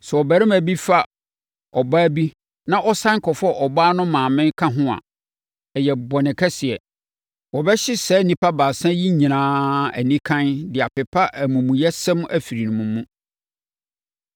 “ ‘Sɛ ɔbarima bi fa ɔbaa bi na ɔsane kɔfa ɔbaa no maame ka ho a, ɛyɛ bɔne kɛseɛ. Wɔbɛhye saa nnipa baasa yi nyinaa anikann de apepa amumuyɛsɛm afiri mo mu.